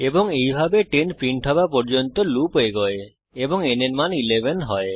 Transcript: এবং এইভাবে 10 প্রিন্ট হওয়া পর্যন্ত লুপ এগোয় এবং n এর মান 11 হয়